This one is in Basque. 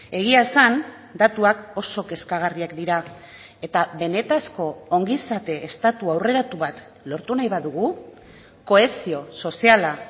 egia esan datuak oso kezkagarriak dira eta benetako ongizate estatu aurreratu bat lortu nahi badugu kohesio soziala